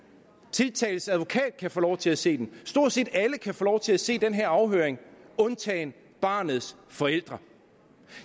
tiltaltes advokat kan få lov til at se den stort set alle kan få lov til at se den her afhøring undtagen barnets forældre